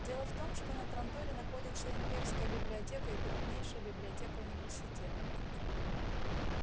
дело в том что на транторе находятся имперская библиотека и крупнейшая библиотека университета